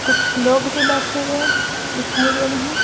कुछ लोग भी बैठे हुए दिखाई दे रहे हैं।